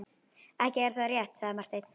Ekki er það rétt, sagði Marteinn.